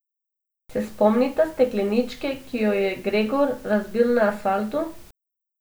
Se spomnita stekleničke, ki jo je Gregor razbil na asfaltu?